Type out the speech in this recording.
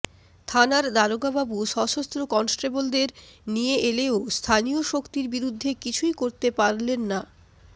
থানার দারোগাবাবু সশস্ত্র কনস্টেবলদের নিয়ে এলেও স্থানীয় শক্তির বিরুদ্ধে কিছুই করতে পারলেন না